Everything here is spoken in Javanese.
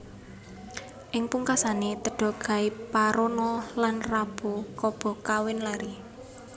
Ing pungkasané Teda Gaiparona lan Rabu Kaba kawin lari